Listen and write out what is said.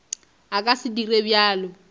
a ka se dire bjalo